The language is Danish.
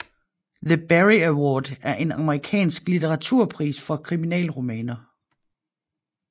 The Barry Award er en amerikansk litteraturpris for kriminalromaner